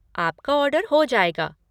आपका ऑर्डर हो जाएगा।